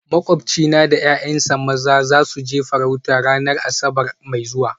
Makwabcina da ’ya’yansa maza za su je farauta ranar Asabar mai zuwa